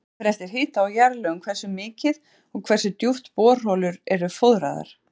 Það fer eftir hita og jarðlögum hversu mikið og hversu djúpt borholur eru fóðraðar.